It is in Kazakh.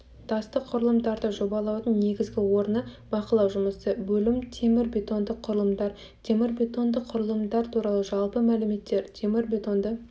тастық құрылымдарды жобалаудың негізгі орны бақылау жұмысы бөлім темірбетонды құрылымдар темірбетонды құрылымдар туралы жалпы мәліметтер темірбетонды